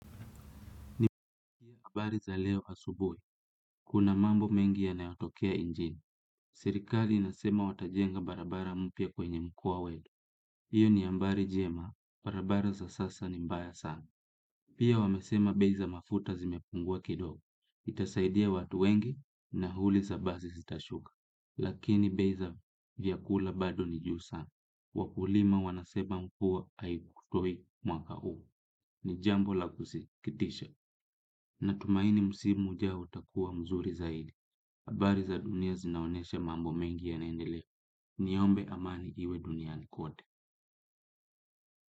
Ni habari za leo asubuhi. Kuna mambo mengi ya nayotokea nchini. Serikali inasema wata jenga barabara mpya kwenye mkoa wetu. Iyo ni habari njema. Barabara za sasa ni mbaya sana. Pia wamesema beiza mafuta zimepungua kidogo. Itasaidia watu wengi nauli za basi zitashuka. Lakini bei za vyakula bado ni juu sana, wakulima wanasema mvua haikutoi mwaka huu, ni jambo la kusikitisha. Natumaini msimu ujao utakua mzuri zaidi habari za dunia zinaonyesha mambo mengi yanaendelea niombe amani iwe duniani kote.